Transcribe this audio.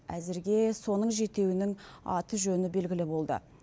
әзірге соның жетеуінің аты жөні белгілі болды